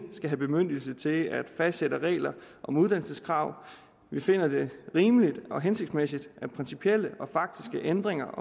skal have bemyndigelse til at fastsætte regler om uddannelseskrav vi finder det rimeligt og hensigtsmæssigt at principielle og faktiske ændringer